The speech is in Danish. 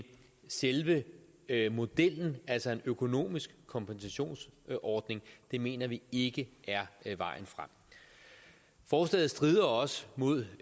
selve modellen altså en økonomisk kompensationsordning mener vi ikke er vejen frem forslaget strider også mod